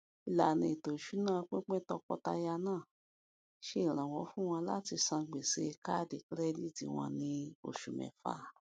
ìlànà ètò ìṣúná pínpín tọkọtaya náà ṣe iranlọwọ fún wọn láti san gbèsè káàdì kirẹditi wọn ní oṣù mẹfà